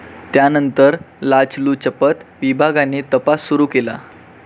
त्यानंतर लाचलुचपत विभागाने तपास सुरू केला.